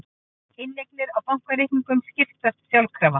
Inneignir á bankareikningum skiptast sjálfkrafa